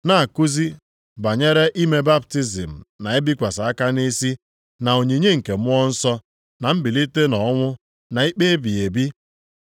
na-akụzi banyere ime baptizim na ibikwasị aka nʼisi na onyinye nke Mmụọ Nsọ, na mbilite nʼọnwụ na ikpe ebighị ebi.